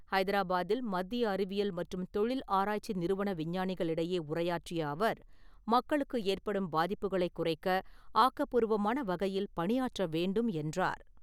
ஹைதராபாத்தில் மத்திய அறிவியல் மற்றும் தொழில் ஆராய்ச்சி நிறுவன விஞ்ஞானிகளிடையே உரையாற்றிய அவர், மக்களுக்கு ஏற்படும் பாதிப்புகளைக் குறைக்க ஆக்கப்பூர்வமான வகையில் பணியாற்ற வேண்டும் என்றார்.